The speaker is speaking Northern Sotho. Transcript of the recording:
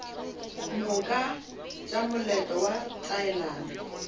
moka tša moletlo wa taelano